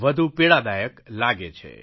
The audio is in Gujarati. વધુ પીડાદાયક લાગે છે